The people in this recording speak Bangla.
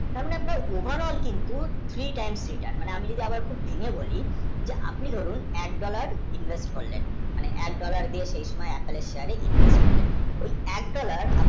মানে মানে overall কিন্তু three, times, return আমি যদি আবার ঘুরে বলি আপনি ধরুন এক dollar, invest করে যায়ি এক dollar দিয়ে Apple এর share এ invest করলেন সেই এক dollar